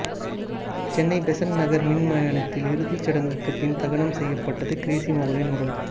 சென்னை பெசன்ட் நகர் மின்மயானத்தில் இறுதிச்சடங்குக்கு பின் தகனம் செய்யப்பட்டது கிரேஸி மோகனின் உடல்